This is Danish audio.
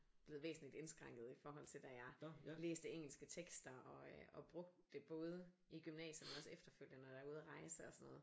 Blevet væsentligt indskrænket i forhold til da jeg læste engelske tekster og brugte det både i gymnasiet men også efterfølgende nå jeg var ude og rejse og sådan noget